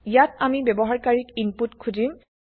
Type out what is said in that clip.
ইয়াত আমি ব্যৱহাৰকাৰিক ইনপুত খুজিম